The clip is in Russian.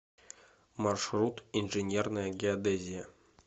маршрут инженерная геодезия